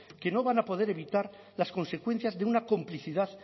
que no van a poder evitar las consecuencias de una complicidad